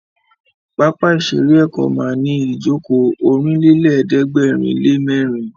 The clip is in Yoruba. Pápá ìṣeré Èkó ma ní ìjókòó Ọ̀rìnlélẹ̀ẹ́dẹ́gbèrinlémẹ́rin